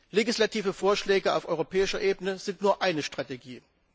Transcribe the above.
Legislative Vorschläge auf europäischer Ebene sind nur eine Strategie.